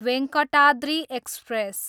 Venkatadri express